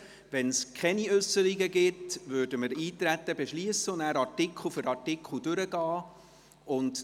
Wenn es keine Äusserungen gibt, würden wir das Eintreten beschliessen und nachher Artikel für Artikel durchgehen.